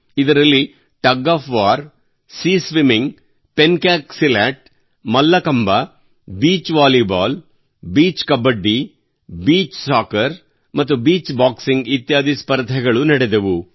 ಇದರಲ್ಲಿ tug of war ಸಿಯಾ swimming pencak silat mallakhamb beach volleyball beach kabaddi beach soccer ಮತ್ತು beach boxing ಇತ್ಯಾದಿ ಸ್ಪರ್ಧೆಗಳು ನಡೆದವು